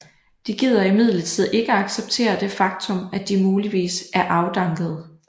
De gider imidlertid ikke at acceptere det faktum at de muligvis er afdankede